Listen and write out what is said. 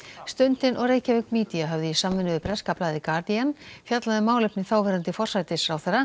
stundin og Reykjavík Media höfðu í samvinnu við breska blaðið Guardian fjallað um málefni þáverandi forsætisráðherra